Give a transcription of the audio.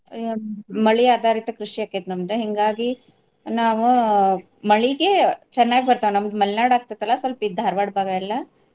ಆ ಮಳಿ ಆದಾರಿತ ಕೃಷಿ ಆಕ್ಕೇತಿ ನಮ್ದ ಹಿಂಗಾಗಿ ನಾವ ಮಳಿಗೆ ಚನ್ನಾಗಿ ಬರ್ತಾವ್ ನಮ್ಗ್ ಮಲ್ನಾಡ್ ಆಗ್ತೈತಲ್ಲ ಸ್ವಲ್ಪ ಇದ್ ಧಾರವಾಡ್ ಭಾಗಯೆಲ್ಲಾ.